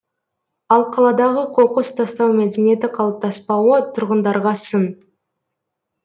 ал қаладағы қоқыс тастау мәдениеті қалыптаспауы тұрғындарға сын